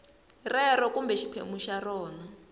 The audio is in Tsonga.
rero kumbe xiphemu xa rona